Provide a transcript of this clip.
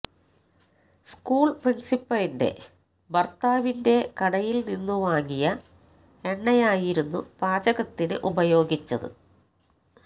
school പ്രിന്സിപ്പലിന്റെ ഭര്ത്താവിന്റെ കടയില്നിന്നു വാങ്ങിയ എണ്ണയായിരുന്നു പാചകത്തിന് ഉപയോഗിച്ചത്